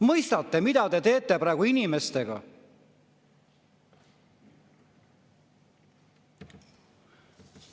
Mõistate, mida te teete praegu inimestega?